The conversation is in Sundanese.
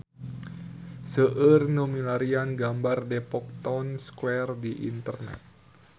Seueur nu milarian gambar Depok Town Square di internet